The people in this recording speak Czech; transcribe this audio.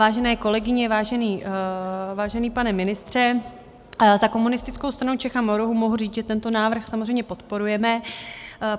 Vážené kolegyně, vážený pane ministře, za Komunistickou stranu Čech a Moravy mohu říct, že tento návrh samozřejmě podporujeme.